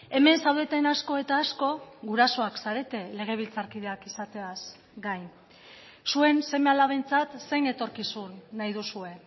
hemen zaudeten asko eta asko gurasoak zarete legebiltzarkideak izateaz gain zuen seme alabentzat zein etorkizun nahi duzue